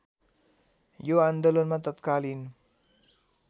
यो आन्दोलनमा तत्कालीन